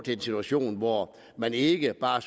en situation hvor man ikke bare